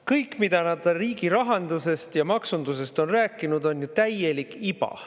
Kõik, mida nad riigi rahandusest ja maksundusest on rääkinud, on ju täielik iba.